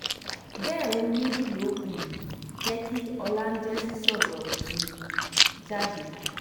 bẹ́ẹ̀ ohun méjì ló um jẹ́ kí ọlájẹ́ǹsì sọ̀rọ̀ um jáde